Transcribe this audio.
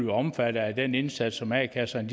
omfattet af den indsats som a kasserne